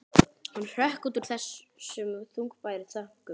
Hann hrökk út úr þessum þungbæru þönkum.